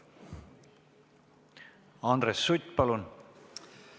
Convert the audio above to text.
Andres Sutt, palun!